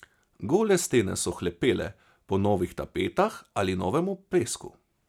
Gole stene so hlepele po novih tapetah ali novem oplesku.